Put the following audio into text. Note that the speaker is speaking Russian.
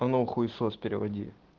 а ну хуисос переводи